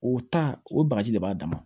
O ta o bagaji de b'a dama